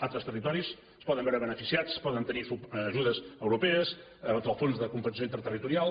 altres territoris es poden veure beneficiats poden tenir ajudes europees del fons de compensació interterritorial